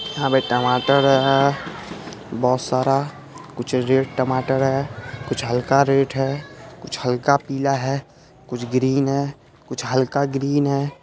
यहाँ पे टमाटर है। बोहोत सारा कुछ रेड टमाटर है कुछ हल्का रेड है कुछ हल्का पीला है कुछ ग्रीन है कुछ हल्का ग्रीन है।